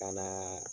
Ka na